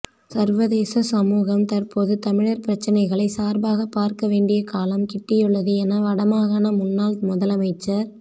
சர்வதேச சமூகம் தற்போது தமிழர் பிரச்சனைகளை சார்பாகப் பார்க்க வேண்டிய காலம் கிட்டியுள்ளது என வட மாகாண முன்னாள் முதலமைச்சர்